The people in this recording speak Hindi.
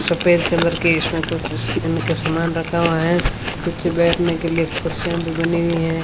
सफेद कलर का इसमें कुछ इनका सामान रखा हुआ है पीछे बैठने के लिए कुर्सियां भी बनी हुई है।